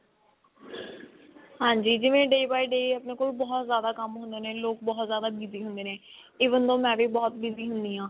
ਹਾਂਜੀ ਜਿਵੇਂ day by day ਆਪਣੇ ਕੋਲ ਬਹੁਤ ਜ਼ਿਆਦਾ ਕੰਮ ਹੁੰਦੇ ਨੇ ਲੋਕ ਬਹੁਤ ਜ਼ਿਆਦਾ busy ਹੁੰਦੇ even ਤਾਂ ਮੈਂ ਵੀ ਬਹੁਤ busy ਹੁੰਦੀ ਹਾਂ